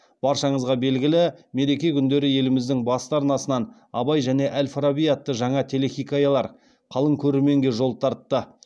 баршаңызға белгілі мереке күндері еліміздің басты арнасынан абай және әл фараби атты жаңа телехикаялар қалың көрерменге жол тартты